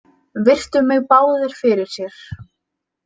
Virtu mig báðir fyrir sér.